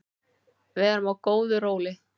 Við erum á góðu róli